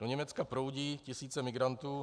Do Německa proudí tisíce migrantů.